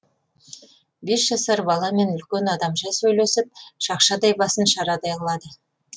бес жасар баламен үлкен адамша сөйлесіп шақшадай басын шарадай қылады